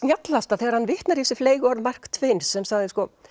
snjallasta þegar hann vitnar í þessu fleygu orð Mark Twain sem sagði sko